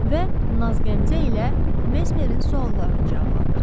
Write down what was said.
Və nazqəmzə ilə Mezmerin suallarını cavablandırdı.